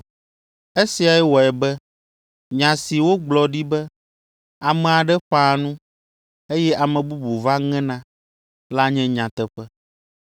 Esiae wɔe be nya si wogblɔ ɖi be, ‘Ame aɖe ƒãa nu, eye ame bubu va ŋena’ la nye nyateƒe.